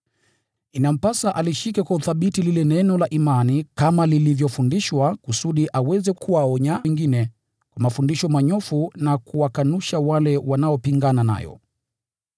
Inampasa alishike kwa uthabiti lile neno la imani kama lilivyofundishwa, kusudi aweze kuwaonya wengine kwa mafundisho manyofu na kuwakanusha wale wanaopingana nayo.